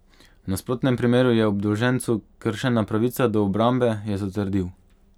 V nasprotnem primeru je obdolžencu kršena pravica do obrambe, je zatrdil.